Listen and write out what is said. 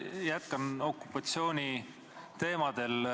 Jätkan okupatsiooni teemadel.